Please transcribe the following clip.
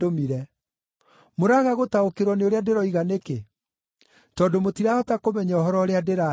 Mũraga gũtaũkĩrwo nĩ ũrĩa ndĩroiga nĩkĩ? Tondũ mũtirahota kũmenya ũhoro ũrĩa ndĩraria.